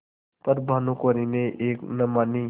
पर भानुकुँवरि ने एक न मानी